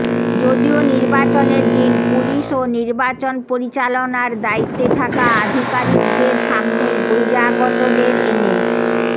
যদিও নির্বাচনের দিন পুলিশ ও নির্বাচন পরিচালনার দায়িত্বে থাকা আধিকারিকদের সামনেই বহিরাগতদের এনে